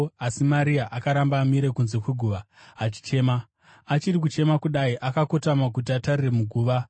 asi Maria akaramba amire kunze kweguva achichema. Achiri kuchema kudai, akakotama kuti atarire muguva